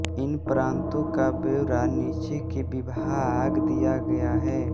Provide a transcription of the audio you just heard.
इन प्रान्तों का ब्यौरा नीचे के विभाग दिया गया है